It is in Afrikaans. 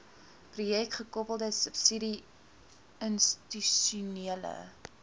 projekgekoppelde subsidie institusionele